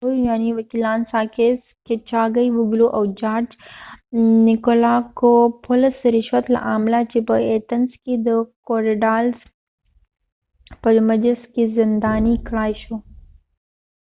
مشهور یونانی وکېلان ساکېس کېچاګیې وګلو sakis kichagiouglouاو جارج نیکولاکوپولس george nikolakopoulos د رشوت له امله چې په ایتنز کې د کوریډالس korydallus په محبس کې زندانی کړای شو